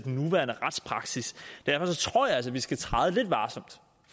nuværende retspraksis derfor tror jeg altså at vi skal træde lidt varsomt